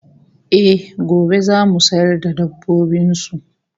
Eh, gobe zasu sayar da dabbobin su